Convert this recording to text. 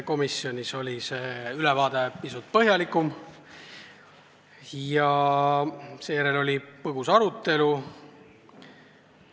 Komisjonis oli see ülevaade pisut põhjalikum ja seejärel oli põgus arutelu.